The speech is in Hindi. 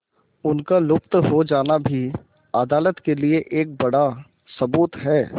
उनका लुप्त हो जाना भी अदालत के लिए एक बड़ा सबूत है